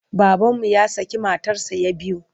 Babanmu ya şakı matarsa ya biyu.